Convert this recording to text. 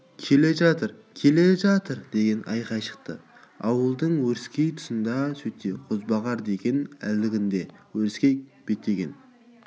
келе жатыр келе жатыр деген айқай шықты ауылдың өріскей тұсынан сөйтсе қозбағар екен әлгінде өріске беттеген